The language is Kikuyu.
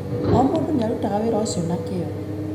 O mũndũ nĩ arutaga wĩra ũcio na kĩyo.